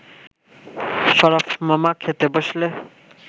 শরাফ মামা খেতে বসলে